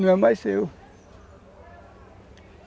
Não é mais seu.